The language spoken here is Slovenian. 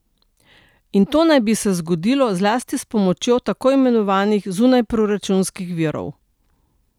In to naj bi se zgodilo zlasti s pomočjo tako imenovanih zunajproračunskih virov.